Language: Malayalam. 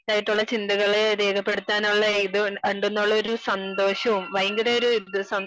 ആയിട്ടുള്ള ചിന്തകളെ രേഖപ്പെടുത്താൻ ഉള്ള ഇത് ഉണ്ടെന്നുള്ള ഒരു സന്തോഷവും ഭയങ്കര ഒരു ഇത്